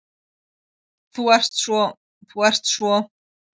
Þú ert svo. þú ert svo.